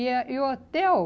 E a e o hotel,